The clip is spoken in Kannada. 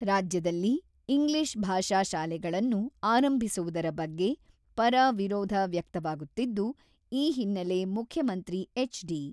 """ರಾಜ್ಯದಲ್ಲಿ ಇಂಗ್ಲೀಷ್ ಭಾಷಾ ಶಾಲೆಗಳನ್ನು ಆರಂಭಿಸುವುದರ ಬಗ್ಗೆ ಪರ, ವಿರೋಧ ವ್ಯಕ್ತವಾಗುತ್ತಿದ್ದು, ಈ ಹಿನ್ನೆಲೆ ಮುಖ್ಯಮಂತ್ರಿ ಎಚ್.ಡಿ."